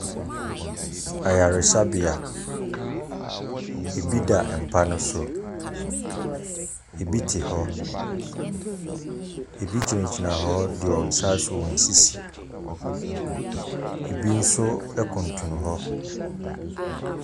Ayaresabea, ɛbi da mpa no so, ɛbi te hɔ, ɛbi gyina gyina hɔ de wɔn nsa asɔ wɔn sisi. Ɛbi nso ɛkuntunu hɔ.